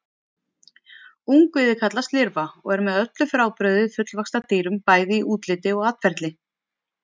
Ungviðið kallast lirfa og er með öllu frábrugðið fullvaxta dýrum, bæði í útliti og atferli.